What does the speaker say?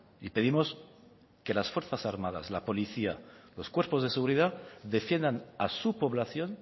y pedimos que las fuerzas armadas la policía y los cuerpos de seguridad defiendan a su población